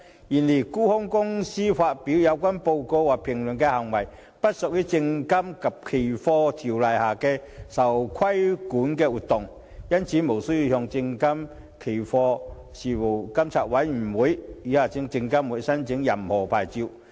然而，沽空機構發表有關報告或評論的行為不屬《證券及期貨條例》下的受規管活動，因此無須向證券及期貨事務監察委員會申領任何牌照。